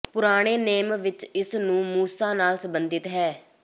ਪੁਰਾਣੇ ਨੇਮ ਵਿਚ ਇਸ ਨੂੰ ਮੂਸਾ ਨਾਲ ਸੰਬੰਧਿਤ ਹੈ